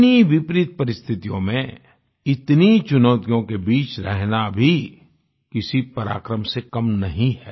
इतनी विपरीत परिस्थितियों में इतनी चुनौतियों के बीच रहना भी किसी पराक्रम से कम नहीं है